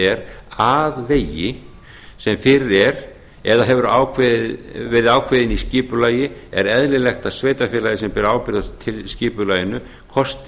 er að vegi sem fyrir er eða hefur verið ákveðinn í skipulagi er eðlilegt að sveitarfélagið sem ber ábyrgð á skipulaginu kosti